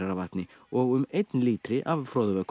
af vatni og um einn lítri af